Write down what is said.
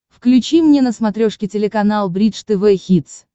включи мне на смотрешке телеканал бридж тв хитс